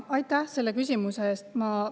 Aitäh selle küsimuse eest!